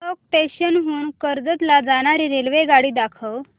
चौक station हून कर्जत ला जाणारी रेल्वेगाडी दाखव